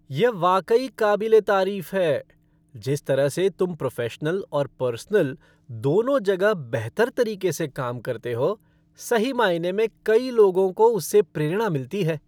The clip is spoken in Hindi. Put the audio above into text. यह वाकई काबिल ए तारीफ़ है। जिस तरह से तुम प्रोफ़ेशनल और पर्सनल, दोनों जगह बेहतर तरीके से काम करते हो, सही मायने में कई लोगों को उससे प्रेरणा मिलती है।